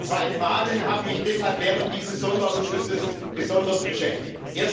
Zwei Fragen haben mich deshalb während dieses Sonderausschusses besonders beschäftigt.